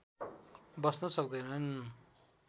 बस्न सक्दैनन्